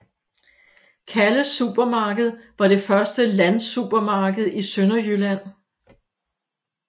Calles Supermarked var det første landsupermarked i Sønderjylland